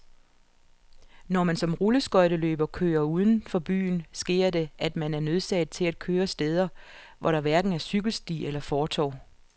Når man som rulleskøjteløber kører uden for byen, sker det, at man er nødsaget til at køre steder, hvor der hverken er cykelsti eller fortov.